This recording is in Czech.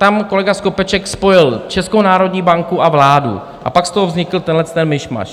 Tam kolega Skopeček spojil Českou národní banku a vládu a pak z toho vznikl tenhleten mišmaš.